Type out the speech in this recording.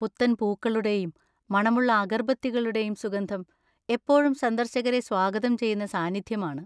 പുത്തൻ പൂക്കളുടെയും മണമുള്ള അഗർബത്തികളുടെയും സുഗന്ധം എപ്പോഴും സന്ദർശകരെ സ്വാഗതം ചെയ്യുന്ന സാന്നിധ്യമാണ്.